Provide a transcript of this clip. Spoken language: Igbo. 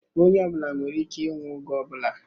Onye ọ bụla nwere ike ịnwụ oge ọ bụla